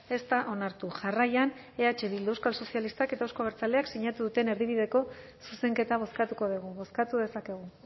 ez da onartu jarraian eh bildu euskal sozialistak eta euzko abertzaleak sinatu duten erdibideko zuzenketa bozkatuko dugu bozkatu dezakegu